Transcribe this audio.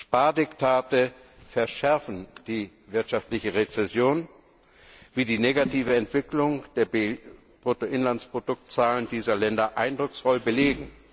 Spardiktate verschärfen die wirtschaftliche Rezession, wie die negative Entwicklung der Bruttoinlandsproduktzahlen dieser Länder eindrucksvoll belegt.